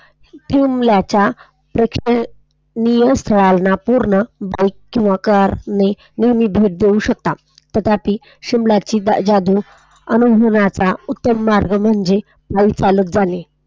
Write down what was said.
शिमल्याच्या प्रेक्षणीय स्थळांच्या पूर्ण बाइक किंवा कार ने भेट देऊ शकतात. पण तथापि शिमलाची जादू अनुभवण्याचा उत्तम मार्ग म्हणजे पायी चालत जाणे.